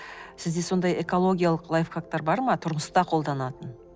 сізде сондай экологиялық лайфхактар бар ма тұрмыста қолданатын